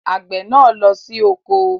Àgbè náà lọ sí oko